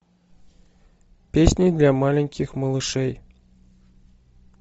песни для маленьких малышей